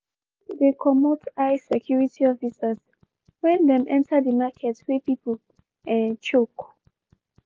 people dey comot eye security officers wen dem enter di market wey pipu um choke.